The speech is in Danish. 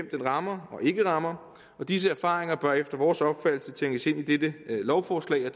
den rammer og ikke rammer disse erfaringer bør efter vores opfattelse tænkes ind i dette lovforslag